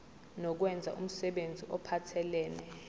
nokwenza umsebenzi ophathelene